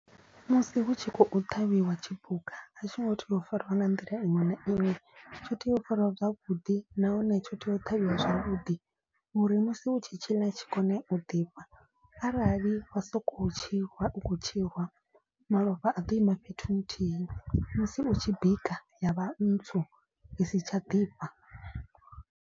Musi hu tshi khou ṱhavhiwa tshipuka a tshi ngo tea u fariwa nga nḓila iṅwe na iṅwe. Tsho tea u fariwa zwavhuḓi nahone tsho tea u ṱhavhiwa zwavhuḓi. Uri musi u tshi tshiḽa tshi kone u ḓifha arali wa so ko u tshi rwa u khou tshi rwa malofha a ḓo ima fhethu nthihi. Musi u tshi bika ya vha ntswu i si tsha ḓifha.